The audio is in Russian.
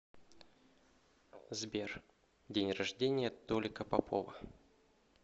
сбер день рождения толика попова